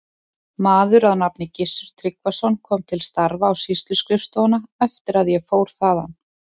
Maður að nafni Gissur Tryggvason kom til starfa á sýsluskrifstofuna eftir að ég fór þaðan.